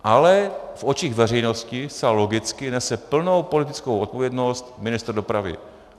Ale v očích veřejnosti zcela logicky nese plnou politickou odpovědnost ministr dopravy.